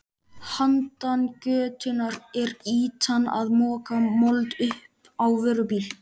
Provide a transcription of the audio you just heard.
Handan götunnar er ýtan að moka mold upp á vörubíl.